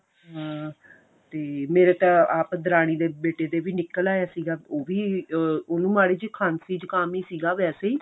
ਹਾਂ ਤੇ ਮੇਰੇ ਤਾਂ ਆਪ ਦਰਾਨੀ ਦੇ ਬੇਟੇ ਦੇ ਵੀ ਨਿੱਕਲ ਆਇਆ ਸੀਗਾ ਉਹ ਵੀ ah ਉਹਨੂੰ ਮਾੜੀ ਜੀ ਖਾਂਸੀ ਜੁਕਾਮ ਸੀਗਾ ਵੈਸੇ ਹੀ